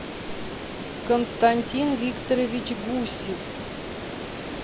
константин викторович гусев